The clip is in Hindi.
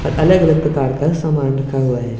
और अलग अलग प्रकार का समान रखा हुआ है।